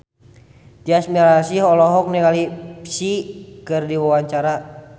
Tyas Mirasih olohok ningali Psy keur diwawancara